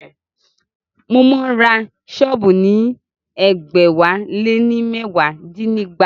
Mo máa ń ra sọ́ọ̀bù ní ẹgbẹ̀wáléní mẹwa dínígba